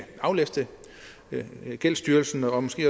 aflaste gældsstyrelsen og måske